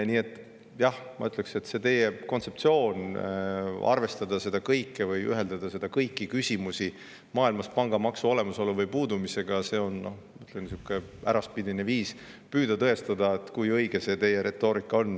Nii et jah, ma ütleksin, et teie kontseptsioon ühendada kõiki küsimusi maailmas pangamaksu olemasolu või puudumisega on äraspidine viis püüda tõestada, kui õige see teie retoorika on.